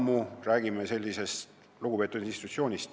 Me ju räägime väga lugupeetud institutsioonist.